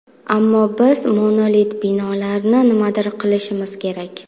Ammo biz monolit binolarni nimadir qilishimiz kerak.